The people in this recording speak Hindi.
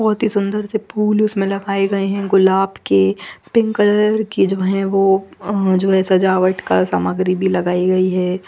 बहोत ही सुंदर से फूल उसमें लगए गए हैं गुलाब के पिंक कलर के जो है वो और जो है सजावट कर सामग्री भी लगइ गई है।